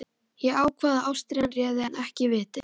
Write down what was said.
Ég ákvað að ástríðan réði en ekki vitið.